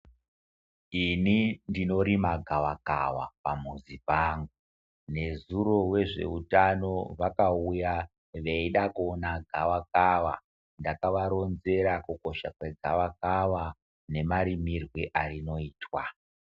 Ini ndinorima gawakawa pamuzi pangu, nezuro wezveutano vakaita veida kuona gawakawa, ndakavaronzera kukosha kwegawakawa nemarimirwe arinoitwa.